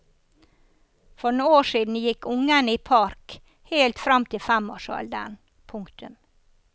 For noen år siden gikk ungene i park helt frem til femårsalderen. punktum